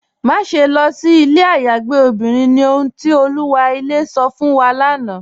Máṣẹ̀ lọ sí ilẹ̀ ayàgbẹ̀ obìnrin ni, ọ̀hun ti Olúwa ilẹ̀ sọ̀ fún wa lánà.